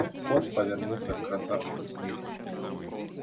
скотт повернулся к красавчику смиту